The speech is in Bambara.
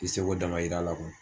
I seko damayira la kuwa